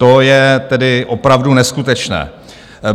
To je tedy opravdu neskutečné.